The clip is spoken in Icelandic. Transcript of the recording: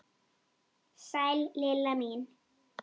Sæl Lilla mín!